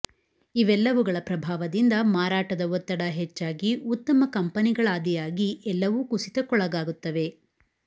ಇವೆಲ್ಲವುಗಳ ಪ್ರಭಾವದಿಂದ ಮಾರಾಟದ ಒತ್ತಡ ಹೆಚ್ಚಾಗಿ ಉತ್ತಮ ಕಂಪನಿಗಳಾದಿಯಾಗಿ ಎಲ್ಲವೂ ಕುಸಿತಕ್ಕೊಳಗಾಗುತ್ತವೆ